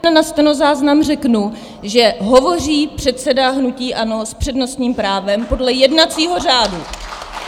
Na stenozáznam řeknu, že hovoří předseda hnutí ANO s přednostním právem podle jednacího řádu.